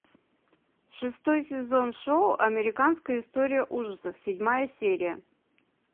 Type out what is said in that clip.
шестой сезон шоу американская история ужасов седьмая серия